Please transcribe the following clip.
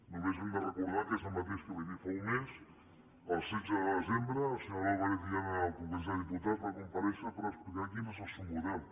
només hem de recordar que és el mateix que vaig dir fa un mes el setze de desembre la senyora álvarez en el congrés dels diputats va comparèixer per explicar quin és el seu model